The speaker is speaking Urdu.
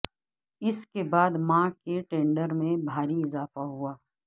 اس کے بعد ماں کے ٹینڈر میں بھاری اضافہ ہوا